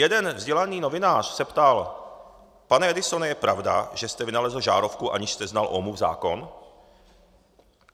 Jeden vzdělaný novinář se ptal: "Pane Edisone, je pravda, že jste vynalezl žárovku, aniž jste znal Ohmův zákon?"